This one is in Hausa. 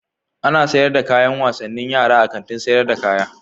Ana sayar da kayan wasannin yara a Kantin sayar da kaya.